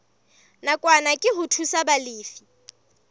nakwana ke ho thusa balefi